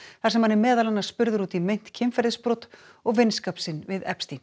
þar sem hann er meðal annars spurður út í meint kynferðisbrot og vinskap sinn við